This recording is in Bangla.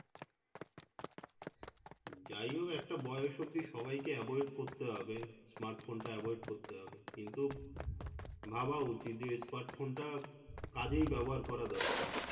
যাইহোক একটা বয়স অবধি সবাইকে avoid করতে হবে smart phone টা avoid করতে হবে কিন্তু ভাবা উচিত যে smart phone টা কাজেই ব্যবহার করা দরকার